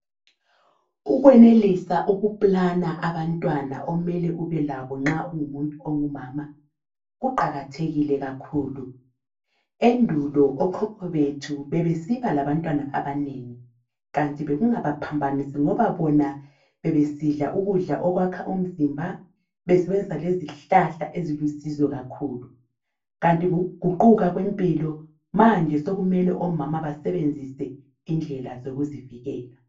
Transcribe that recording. Ukwenelisa ukuplana abantwana omele ube labo nxa ungumuntu ongumama kuqakathekile kakhulu. Endulo okhokho bethu bebesiba labantwana abanengi kanti bekungaba phambanisi ngoba bona bebesidla ukudla okwakha umzimba, besebenzisa lezihlahla ezilusizo kakhulu kanti ukuguquka kwempilo manje sokumele omama basebenzise indlela zokuzivikela.